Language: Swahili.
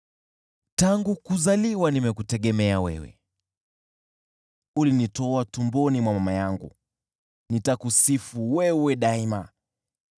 Tangu kuzaliwa nimekutegemea wewe, ulinitoa tumboni mwa mama yangu. Nitakusifu wewe daima.